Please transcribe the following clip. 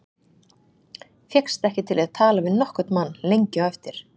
Fékkst ekki til að tala við nokkurn mann lengi á eftir.